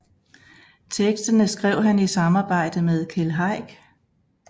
Teksterne skrev han i samarbejde med Keld Heick